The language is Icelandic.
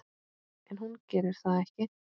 En hún gerir það ekki.